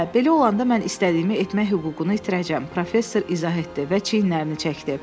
Hə, belə olanda mən istədiyimi etmək hüququnu itirəcəyəm, professor izah etdi və çiyinlərini çəkdi.